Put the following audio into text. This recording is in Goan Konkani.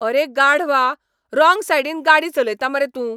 अरे गाढवा. राँग सायडीन गाडी चलयता मरे तूं.